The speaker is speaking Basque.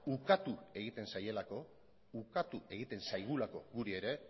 ukatu egiten zaielako ukatu egiten zaigulako guri ere